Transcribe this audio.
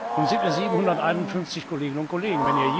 Nun sind wir 751 Kolleginnen und Kollegen.